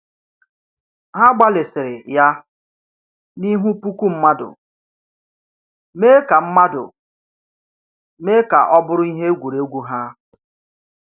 Ha gbalịsiri ya n’ihu puku mmadụ, mee ka mmadụ, mee ka ọ bụrụ ihe egwuregwu ha.